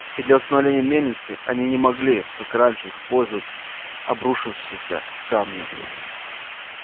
и для восстановления мельницы они не могли как раньше использовать обрушившиеся камни